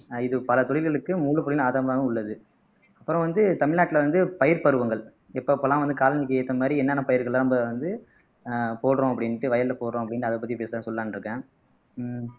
இது பல தொழில்களுக்கு ஆதாரமாகவும் உள்ளது அப்புறம் வந்து தமிழ்நாட்டுல வந்து பயிர் பருவங்கள் எப்பப்பெல்லாம் வந்து காலங்களுக்கு ஏத்த மாதிரி என்னென்ன பயிர்கள்லாம் வந்து போடறோம் அப்படின்னுட்டு வயல்ல போடறோம் அப்படின்னுட்டு அதைப் பத்தி பேசலாம் சொல்லலாம்ன்னு இருக்கேன் ஆஹ்